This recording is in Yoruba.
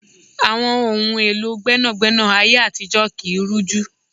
Àwọn ohun èlò gbẹ́nàgbẹ́nà ayé àtijó kii rújú